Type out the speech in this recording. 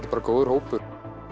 bara góður hópur